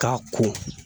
K'a ko